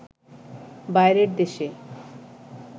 বাইরের দেশে